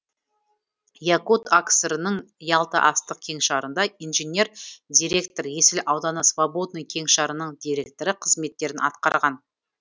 якут акср нің ялта астық кеңшарында инженер директор есіл ауданы свободный кеңшарының директоры қызметтерін атқарған